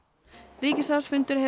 ríkisráðsfundur hefur